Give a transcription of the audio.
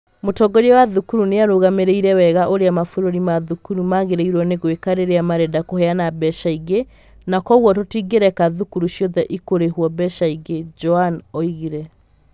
"Mũtongoria wa thukuru nĩ arũgamĩrĩire wega ũrĩa mabũrũri ma thukuru magĩrĩirwo nĩ gwĩka rĩrĩa marenda kũheana mbeca ingĩ, na kwoguo tũtingĩreka thukuru ciothe ikũrĩhwo mbeca ingĩ", Jwan oigire.